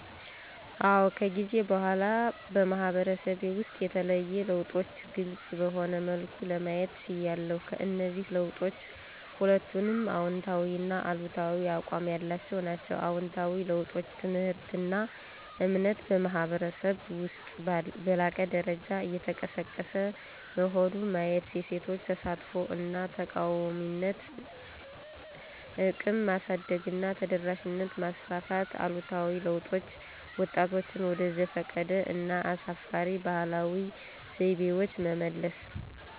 አዎ ከጊዜ በኋላ በማህበረሰቤ ውስጥ የተለዩ ለውጦችን ግልፅ በሆነ መልኩ ለማየት ችያለሁ። ከእነዚህ ለውጦች ሁለቱንም አዎንታዊና አሉታዊ አቋም ያላቸው ናቸው። አዎንታዊ ለውጦች: ትምህርትና እምነት በማኅበረሰብ ውስጥ በላቀ ደረጃ እየተቀሰቀሰ መሆን ማየት የሴቶች ተሳትፎ እና ተቃዋሚነት እቅም ማሳደግና ተደራሽነት ማስፋፋት አሉታዊ ለውጦች: ወጣቶችን ወደ ዘፈቀደ እና አሳፋሪ ባህላዊ ዘይቤዎች መመለስ።